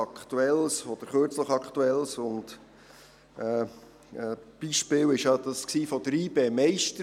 Ein recht aktuelles Beispiel war ja die Meisterfeier von YB.